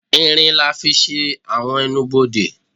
ìrín lá fí sé awọn ẹ́nubọdè